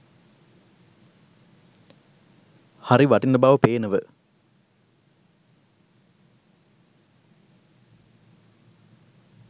හරි වටින බව පේනව